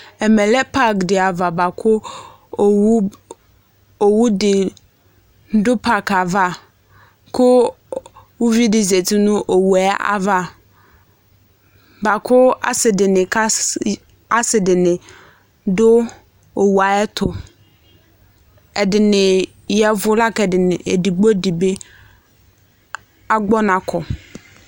Ɛmɛ lɛ pak dɩ ava, bʋa kʋ owu dɩ dʋ pak yɛ ava, kʋ uvi dɩ zati nʋ owu yɛ ava, bʋa kʋ asɩ dɩnɩ dʋ owu yɛ ayʋ ɛtʋ, ɛdɩnɩ ya ɛvʋ, la kʋ edigbo dɩ bɩ agbɔ ɔna kɔ